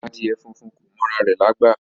Adìẹ funfun kò mọ ara rẹ̀ lágbà